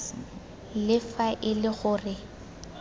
le fa e le gore